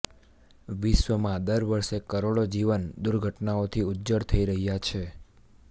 વિશ્ર્વમાં દર વર્ષેે કરોડો જીવન દુર્ઘટનાઓથી ઉજ્જડ થઈ રહ્યા છે